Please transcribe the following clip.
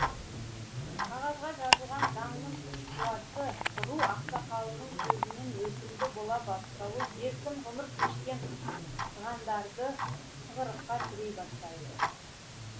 қағазға жазылған заңның күш қуаты ру ақсақалының сөзінен өтімді бола бастауы еркін ғұмыр кешкен сығандарды тығырыққа тірей бастайды